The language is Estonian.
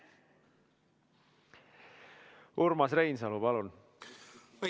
Urmas Reinsalu, palun!